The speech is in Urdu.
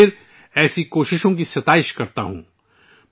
میں ایک بار پھر ایسی کوششوں کو سراہتا ہوں